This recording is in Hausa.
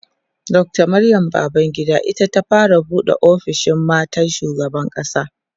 Dr Maryam Babangida ita ta fara buɗe ofishin matan shugaban ƙasa